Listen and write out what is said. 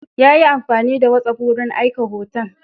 Ya yi amfani da whatsapp wurin aika hoton.